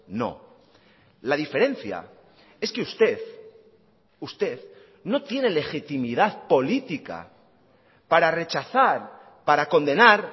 no la diferencia es que usted usted no tiene legitimidad política para rechazar para condenar